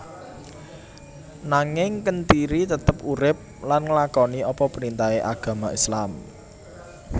Nanging Kentiri tetep urip lan nglakoni apa printahe agama islam